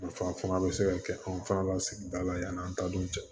Nafa fana bɛ se ka kɛ an fana ka sigida la yann'an ta dun cɛ